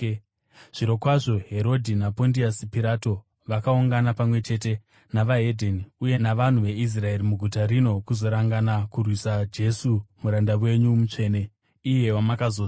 Zvirokwazvo Herodhi naPondiasi Pirato vakaungana pamwe chete neveDzimwe Ndudzi uye navanhu veIsraeri muguta rino kuzorangana kurwisa Jesu muranda wenyu mutsvene, iye wamakazodza.